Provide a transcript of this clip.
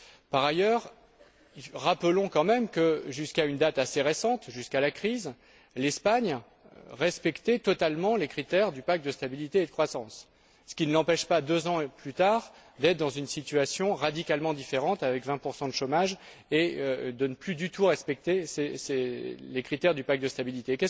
Par ailleurs, rappelons quand même que, jusqu'à une date assez récente jusqu'à la crise l'Espagne respectait totalement les critères du pacte de stabilité et de croissance, ce qui ne l'empêche pas, deux ans plus tard, d'être dans une situation radicalement différente, avec 20 de chômage, et de ne plus du tout respecter les critères du pacte de stabilité.